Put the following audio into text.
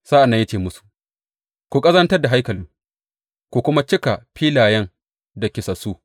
Sa’an nan ya ce musu, Ku ƙazantar da haikalin ku kuma cika filayen da kisassu.